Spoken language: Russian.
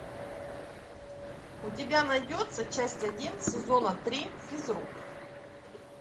у тебя найдется часть один сезона три физрук